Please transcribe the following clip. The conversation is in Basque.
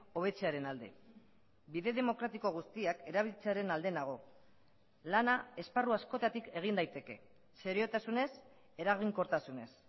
hobetzearen alde bide demokratiko guztiak erabiltzearen alde nago lana esparru askotatik egin daiteke seriotasunez eraginkortasunez